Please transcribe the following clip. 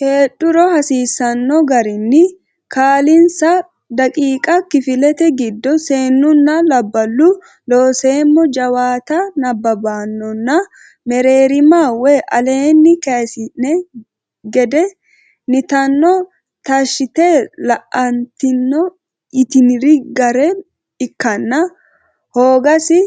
heedhuro hasiisanno garinni kaa linsa daqiiqa kifilete giddo seennunna labballu Looseemmo jawaatte nabbabbannonna mereerima woy aleenni kayissine gede nitanno taashshite la atenni yitiniri gara ikkanna hoogasi